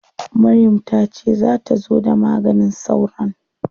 Maryam ta ce za ta zo da maganin sauron?